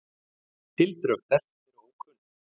Tildrög þess eru ókunn.